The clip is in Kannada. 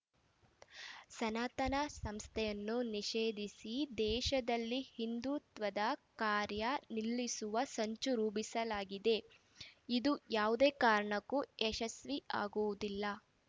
ಸನಾತನ ಸಂಸ್ಥೆಯನ್ನು ನಿಷೇಧಿಸಿ ದೇಶದಲ್ಲಿ ಹಿಂದುತ್ವದ ಕಾರ್ಯ ನಿಲ್ಲಿಸುವ ಸಂಚು ರೂಪಿಸಲಾಗಿದೆ ಇದು ಯಾವುದೇ ಕಾರಣಕ್ಕೂ ಯಶಸ್ವಿ ಆಗುವುದಿಲ್ಲ